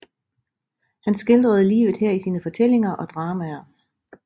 Han skildrede livet her i sine fortællinger og dramaer